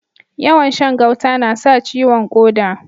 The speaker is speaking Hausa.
Yawan Shan gauta nasa ciwon koda